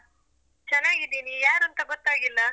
ಚನ್ನಾಗಿದ್ದೀನಿ, ಯಾರೂಂತ ಗೊತ್ತಾಗಿಲ್ಲ?